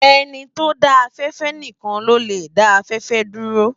Eni ti ó dã áfèfè nikán ló lè dá áfèfè dúró